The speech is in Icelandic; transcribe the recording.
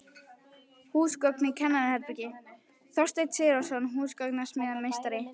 Húsgögn í kennaraherbergi: Þorsteinn Sigurðsson, húsgagnasmíðameistari.